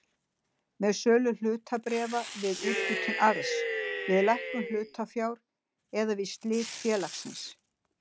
með sölu hlutabréfa, við úthlutun arðs, við lækkun hlutafjár eða við slit félagsins.